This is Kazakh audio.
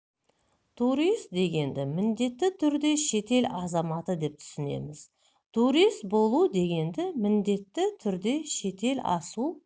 турист дегенді міндетті түрде шетел азаматы деп түсінеміз турист болу дегенді міндетті түрде шетел асу